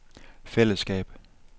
fællesskab